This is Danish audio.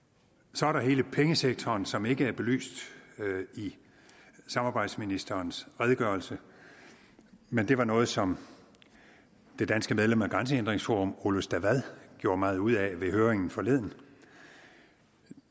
så er der hele pengesektoren som ikke er belyst i samarbejdsministerens redegørelse men det var noget som det danske medlem af grænsehindringsforum ole stavad gjorde meget ud af ved høringen forleden